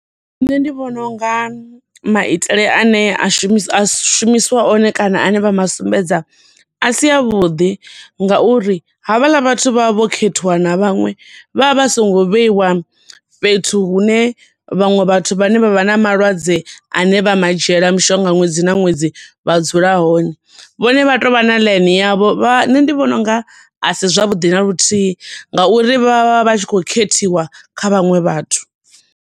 Nṋe ndi vhona unga maitele ane a shumis, a shumiswa one kana ane vha ma sumbedza a si a vhuḓi nga uri havhaḽa vhathu vha vha vho khethiwa na vhaṅwe, vha vha songo vheiwa fhethu hune vhaṅwe vhathu vhane vha vha na malwadze ane vha ma dzhiela mishonga ṅwedzi na ṅwedzi vha dzula hone. Vhone vha tovha na ḽaini yavho, vha nṋe ndi vhona unga asi zwavhuḓi na luthihi, nga uri vha vha vha tshi khou khethiwa kha vhaṅwe vhathu.